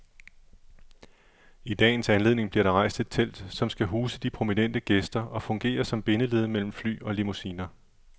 I dagens anledning bliver der rejst et telt, som skal huse de prominente gæster og fungere som bindeled mellem fly og limousiner.